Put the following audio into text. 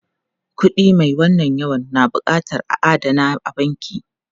Kuɗi mai wannan yawan na buƙatar a adana a banki.